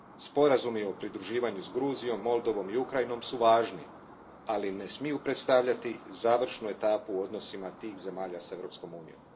Sporazumi o pridruživanju s Gruzijom, Moldovom i Ukrajinom su važni, ali ne smiju predstavljati završnu etapu u odnosima tih zemalja s Europskom Unijom.